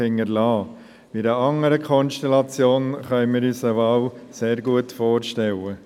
In einer anderen Konstellation können wir uns eine Wahl sehr gut vorstellen.